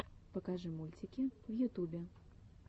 покажи мультики в ютубе